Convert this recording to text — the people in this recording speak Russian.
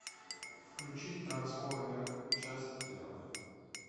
включить трансформеры часть первая